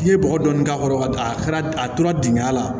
N'i ye bɔgɔ dɔɔni k'a kɔrɔ ka a kɛra a tora dingɛ la